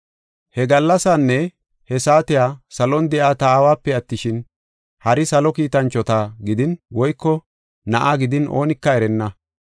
“He gallasaanne he saatiya salon de7iya ta aawape attishin, hari salo kiitanchota gidin woyko Na7aa gidin oonika erenna.